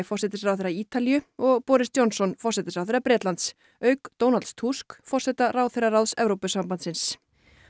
forsætisráðherra Ítalíu og Boris Johnson forsætisráðherra Bretlands auk Donalds Tusk forseta ráðherraráðs Evrópusambandsins